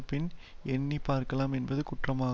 பின் எண்ணி பார்க்கலாம் என்பது குற்றமா